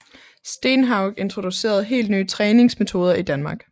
Stenhaug introducerede helt nye træningsmetoder i Danmark